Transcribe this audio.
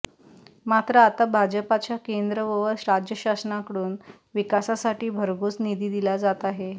मात्र आता भाजपाच्या केंद्र व राज्य शासनाकडून विकासासाठी भरघोस निधी दिला जात आहे